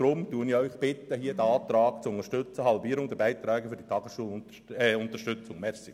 Deshalb bitte ich Sie, diesen Antrag «Halbierung der Beiträge für die Tageschulunterstützung» zu unterstützen.